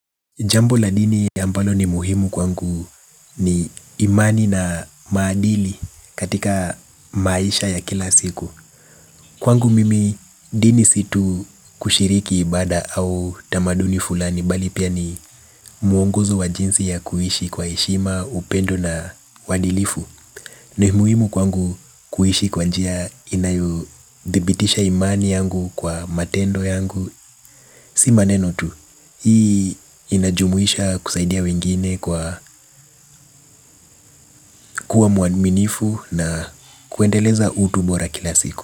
Jambo la dini ambalo ni muhimu kwangu ni imani na maadili katika maisha ya kila siku. Kwangu mimi dini si tu kushiriki ibada au tamaduni fulani bali pia ni muongozo wa jinsi ya kuishi kwa heshima, upendo na uadilifu. Ni muhimu kwangu kuishi kwa njia inayodhibitisha imani yangu kwa matendo yangu. Si maneno tu. Hii inajumuisha kusaidia wengine kwa kuwa muaminifu na kuendeleza utu bora kila siku.